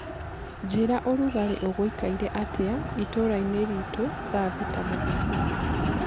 njĩĩra ũrũgarĩ uguikaire atĩa itũra ini ritu thaa thĩta mũthenya